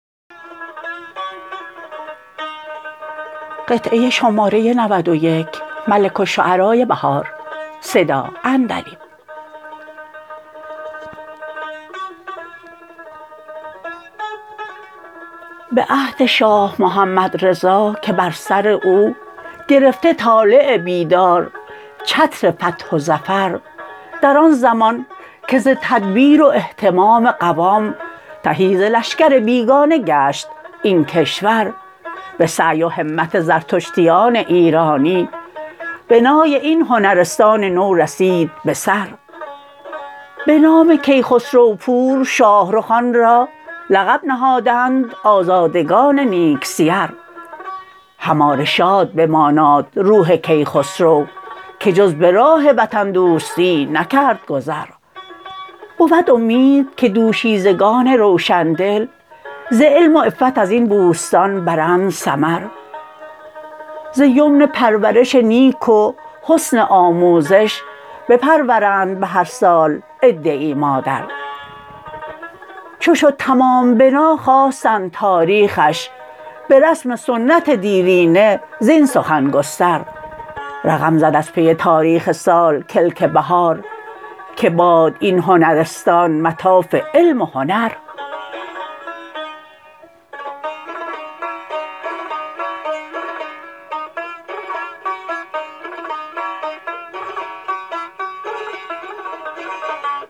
به عهد شاه محمدرضا که بر سر او گرفته طالع بیدار چتر فتح و ظفر در آن زمان که ز تدبیر و اهتمام قوام تهی ز لشکر بیگانه گشت این کشور به سعی و همت زردشتیان ایرانی بنای این هنرستان نو رسید بسر بنام کیسخرو پور شاهرخ آن را لقب نهادند آزادگان نیک سیر هماره شاد بماناد روح کیخسرو که جز به راه وطن دوستی نکرد گذر بود امید که دوشیزگان روشندل ز علم و عفت ازین بوستان برند ثمر زیمن پرورش نیک و حسن آموزش بپرورند به هر سال عده ای مادر چو شد تمام بنا خواستند تاریخش به رسم سنت دیرینه زین سخن گستر رقم زد از پی تاریخ سال کلک بهار که باد این هنرستان مطاف علم و هنر